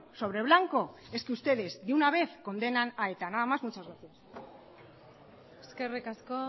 sobre blanco es que ustedes de una vez condenan a eta nada más muchas gracias eskerrik asko